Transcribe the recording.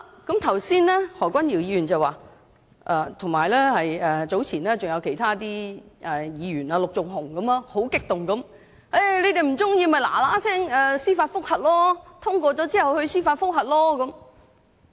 剛才何君堯議員——早前也有其他議員，例如陸頌雄議員——十分激動地說："你們不喜歡的話，在《條例草案》通過後，可趕快提出司法覆核"。